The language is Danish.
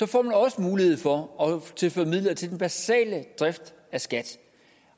får man også mulighed for at tilføre midler til den basale drift af skat